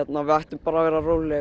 við ættum bara að vera róleg